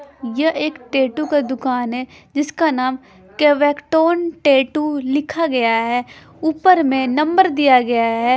यह एक टैटू का दुकान है जिसका नाम केबैक्टन टैटू लिखा गया है ऊपर में नंबर दिया गया है।